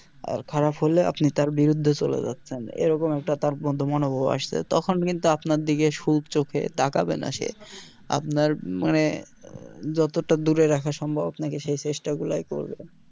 আর খারাপ হলে আপনি তার বিরুদ্দে চলে যাচ্ছেন এই রকম একটা তার মধ্যে মনোভাব আসছে তখন কিন্তু আপনার দিকে সুর চোখে তাকাবে না সে আপনার মানে যতটা দূরে রাখা সম্ভব আপনাকে সেই চেষ্টা গুলোই করবে